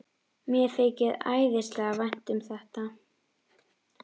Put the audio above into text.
Mér þykir æðislega vænt um þetta.